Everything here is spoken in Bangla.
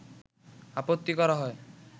আপত্তি করা হয়